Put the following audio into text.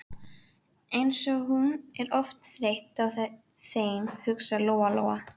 Eins og hún er oft þreytt á þeim, hugsaði Lóa Lóa.